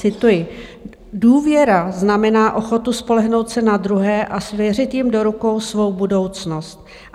Cituji: Důvěra znamená ochotu spolehnout se na druhé a svěřit jim do rukou svou budoucnost.